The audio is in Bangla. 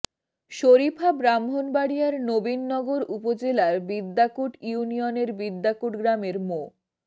শরীফা ব্রাহ্মণবাড়িয়ার নবীনগর উপজেলার বিদ্যাকুট ইউনিয়নের বিদ্যাকুট গ্রামের মো